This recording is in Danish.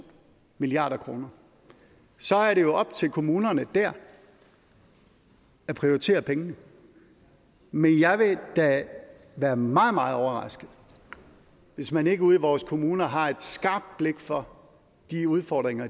milliard kroner så er det jo op til kommunerne at prioritere pengene men jeg vil da være meget meget overrasket hvis man ikke ude i vores kommuner har et skarpt blik for de udfordringer